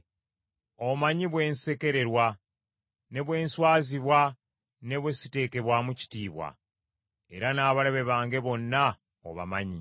Omanyi bwe nsekererwa, ne bwe nswazibwa ne bwe siteekebwamu kitiibwa, era n’abalabe bange bonna obamanyi.